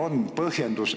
Aeg on läbi!